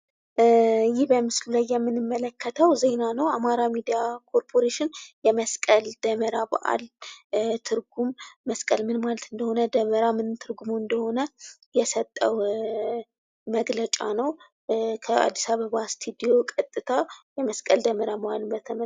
ይህ ምስሉ ላይ የምንመለከተው ዜና ነው። በአማራ ሚዲያ ኮርፖሬሽን የመስቀል ደመራ በአል ትርጉም መስቀል ምን ማለት እንደሆነ፣ ደመራ ማለት ምን ትርጉም እንዳለው የሰጠው መግለጫ ነው። ከአዲስ አበባ ስቱዲዮ ቀጥታ የመስቀል ደመራ መዋልን በተመለከተ።